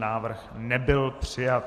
Návrh nebyl přijat.